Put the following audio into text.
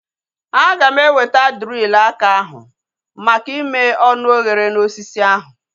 Aga m eweta drilu aka ahu maka ime ọnụ oghere na osisi ahu